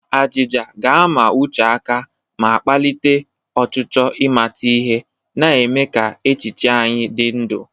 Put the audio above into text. Ajịja ga-ama uche aka ma kpalite ọchịchọ ịmata ihe, na-eme ka echiche anyị dị ndụ.